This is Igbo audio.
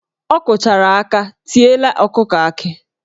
Ọ kụchara aka tiela ọkụkọ akị